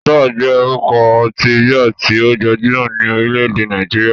Star jẹ́ orúkọ ọtí bíà tí ó gbajúmọ̀ ní orílẹ̀-èdè Nàìjíríà.